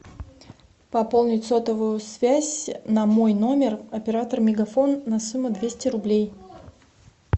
пополнить сотовую связь на мой номер оператор мегафон на сумму двести рублей